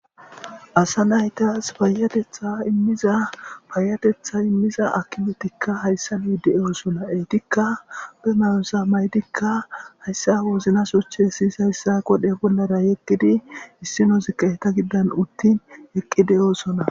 asa naytas payatetha immiza payatetha immiza akimetikka hayssa bii de7oosona eetikka be mayosa maydikka hayssa woznasochche siyis hayssa godhe bollara yeqqidi issinozikka heta giddan uttin eqqi de7oosona